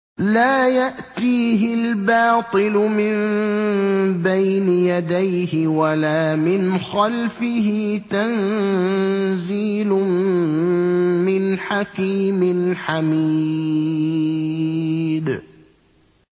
لَّا يَأْتِيهِ الْبَاطِلُ مِن بَيْنِ يَدَيْهِ وَلَا مِنْ خَلْفِهِ ۖ تَنزِيلٌ مِّنْ حَكِيمٍ حَمِيدٍ